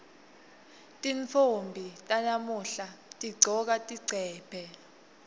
tintfombi talamuhla tigcoka tigcebhe